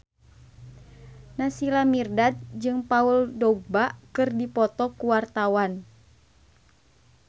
Naysila Mirdad jeung Paul Dogba keur dipoto ku wartawan